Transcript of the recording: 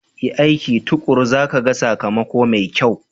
Yi aiki tuƙuru za ka ga sakamako mai kyau.